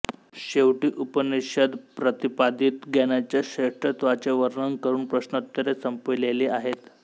शेवटी उपनिषद्प्रतिपादित ज्ञानाच्या श्रेष्ठत्वाचे वर्णन करून प्रश्नोत्तरे संपविलेली आहेत